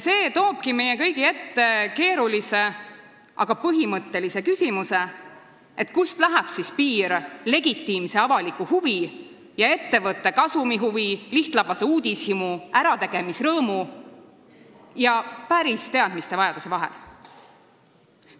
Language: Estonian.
See toobki meie kõigi ette keerulise, aga põhimõttelise küsimuse, kust läheb siis piir legitiimse avaliku huvi ja ettevõtte kasumihuvi, lihtlabase uudishimu, ärategemisrõõmu ja päris teadmiste vajaduse vahel.